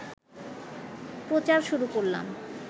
প্রচার শুরু করলাম